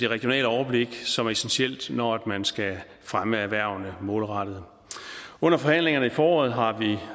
regionale overblik som er essentielt når man skal fremme erhvervene målrettet under forhandlingerne i foråret har